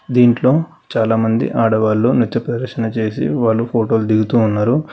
దీంట్లో చాలామంది ఆడవాళ్లు నిజప్రదర్శన చేసి వాళ్ళు ఫోటోలు దిగుతున్నారు.